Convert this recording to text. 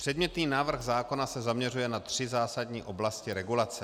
Předmětný návrh zákona se zaměřuje na tři zásadní oblasti regulace.